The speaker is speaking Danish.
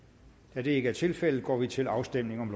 da det ikke er tilfældet går vi til afstemning